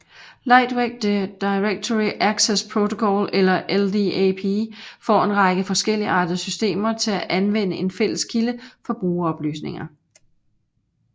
Lightweight Directory Access Protocol eller LDAP får en række forskelligartede systemer til at anvende en fælles kilde for brugeroplysninger